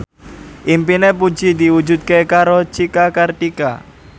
impine Puji diwujudke karo Cika Kartika